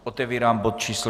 Otevírám bod číslo